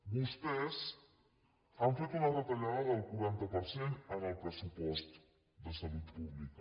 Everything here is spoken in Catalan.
vostès han fet una retallada del quaranta per cent en el pressupost de salut pública